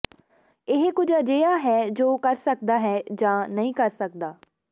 ਇਹ ਕੁਝ ਅਜਿਹਾ ਹੈ ਜੋ ਕਰ ਸਕਦਾ ਹੈ ਜਾਂ ਨਹੀਂ ਕਰ ਸਕਦਾ